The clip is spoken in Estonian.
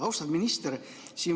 Austatud minister!